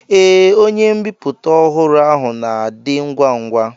Ee, onye mbipụta ọhụrụ ahụ na-adị ngwa ngwa.